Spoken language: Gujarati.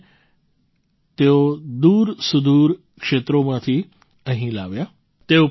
તેમને તેઓ દૂરસુદૂર ક્ષેત્રોમાંથી અહીં લાવ્યા